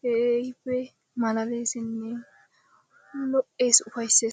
keehippe malaaleessinne lo'ees ufayssees.